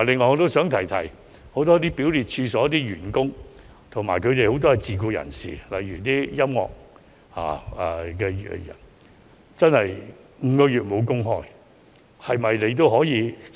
我想指出，很多表列處所的員工及其受聘的自僱人士，例如音樂表演者，確實已失業長達5個月。